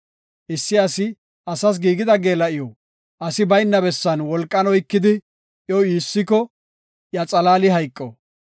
Issi asi asas giigida geela7iw asi bayna bessan wolqan oykidi, iyo iissiko, iya xalaali hayqo.